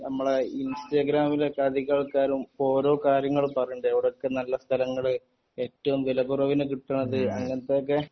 ഞമ്മളെ ഇൻസ്റ്റാഗ്രാമിൽ ഒക്കെ അധിക ആൾക്കാരും ഓരോ കാര്യങ്ങൾ പറയിൻഡ് എവിടൊക്കെ നല്ല സ്ഥലങ്ങൾ ഏറ്റവും വിലകുറവിന് കിട്ടുന്നത് അങ്ങിനതൊക്കെ